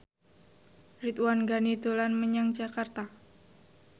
Ridwan Ghani dolan menyang Jakarta